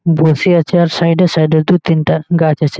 বসে আছে আর সাইড -এ সাইড -এ দু তিনটা গাছ আছে--